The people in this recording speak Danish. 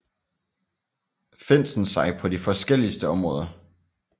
Finsen sig på de forskelligste områder